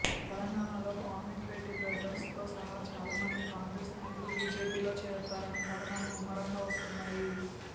తెలంగాణలో కోమటిరెడ్డి బ్రదర్స్తో సహా చాలామంది కాంగ్రెస్ నాయకులు బిజెపిలో చేరతారనే కథనాలు ముమ్మరంగా వస్తున్నాయి